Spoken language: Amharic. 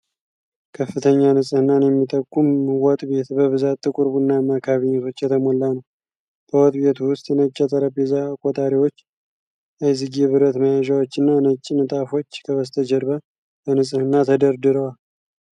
ከፍተኛ ንፅህናን የሚጠቁም ወጥ ቤት በብዛት ጥቁር ቡናማ ካቢኔቶች የተሞላ ነው። በወጥ ቤቱ ውስጥ ነጭ የጠረጴዛ ቆጣሪዎች፣ አይዝጌ ብረት መያዣዎች እና ነጭ ንጣፎች ከበስተጀርባ በንፅህና ተደርድረዋል።